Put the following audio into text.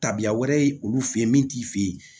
Tabiya wɛrɛ ye olu fe yen min t'i fe ye